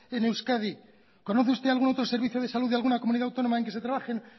en euskadi conoce usted algún otro servicio de salud de alguna comunidad autónoma en que se trabajen